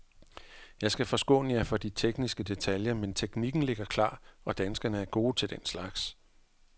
Jeg skal forskåne jer for de tekniske detaljer, men teknikken ligger klar og danskerne er gode til den slags.